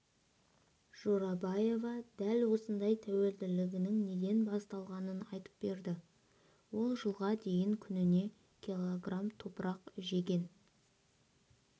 жорабаева дәл осындай тәуелділігінің неден басталғанын айтып берді ол жылға дейін күніне кг топырақ жеген